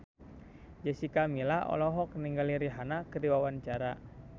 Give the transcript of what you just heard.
Jessica Milla olohok ningali Rihanna keur diwawancara